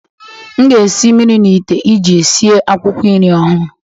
M ga-esi mmiri n'ite iji sie akwụkwọ nri ọhụrụ.